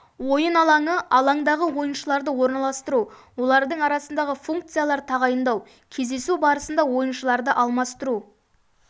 ойын алаңы алаңдағы ойыншыларды орналастыру олардың арасындағы функцияларды тағайындау кездесу барысында ойыншыларды алмастыру